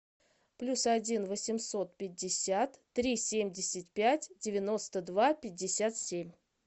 плюс один восемьсот пятьдесят три семьдесят пять девяносто два пятьдесят семь